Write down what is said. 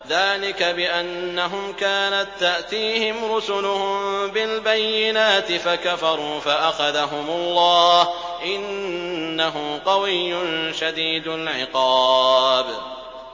ذَٰلِكَ بِأَنَّهُمْ كَانَت تَّأْتِيهِمْ رُسُلُهُم بِالْبَيِّنَاتِ فَكَفَرُوا فَأَخَذَهُمُ اللَّهُ ۚ إِنَّهُ قَوِيٌّ شَدِيدُ الْعِقَابِ